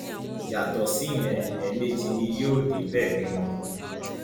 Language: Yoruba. yàtọ síyẹn ẹẹmejì ni yóò débẹ rí wọn